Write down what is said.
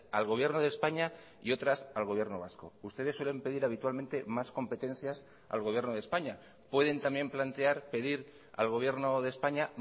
al gobierno de españa y otras al gobierno vasco ustedes suelen pedir habitualmente más competencias al gobierno de españa pueden también plantear pedir al gobierno de españa